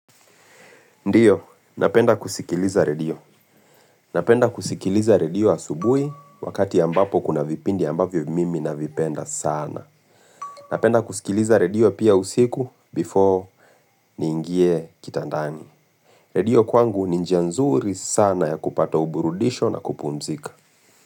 Ndiyo, napenda kusikiliza radio. Napenda kusikiliza radio asubuhi wakati ambapo kuna vipindi ambavyo mimi navipenda sana. Napenda kusikiliza radio pia usiku before ni ingie kitandani. Radio kwangu ni njia nzuri sana ya kupata uburudisho na kupunzika.